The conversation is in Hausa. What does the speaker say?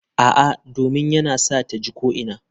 A'a, domin yana sa ta ji ko'ina.